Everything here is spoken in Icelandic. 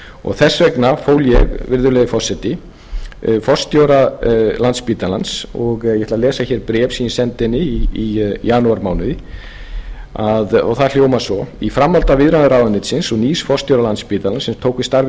og þess vegna fól ég virðulegi forseti forstjóra landspítalans og ég ætla að lesa bréf sem ég ætla að senda henni í janúarmánuði og það hljómar svo í framhaldi af viðræðum ráðuneytisins og nýs forstjóra landspítalans sem tók við starfi